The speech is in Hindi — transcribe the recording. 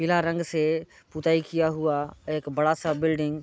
पीला रंग से पुताई किया हुआ एक बड़ा सा बिल्डिंग --